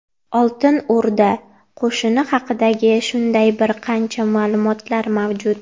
Oltin O‘rda qo‘shini haqida shunday bir qancha ma’lumotlar mavjud.